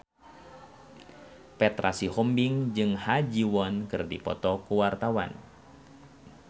Petra Sihombing jeung Ha Ji Won keur dipoto ku wartawan